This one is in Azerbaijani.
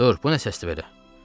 Dur, bu nə səsdir belə?